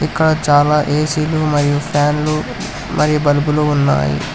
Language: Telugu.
ఇక్కడ చాలా ఏసీ లు మరియు ఫ్యాన్లు మరియు బలుపులు ఉన్నాయి.